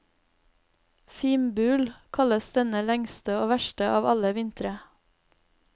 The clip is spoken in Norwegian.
Fimbul kalles denne lengste og verste av alle vintre.